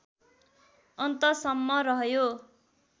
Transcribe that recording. अन्तसम्म रह्यो